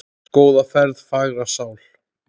Góða ferð, fagra sál.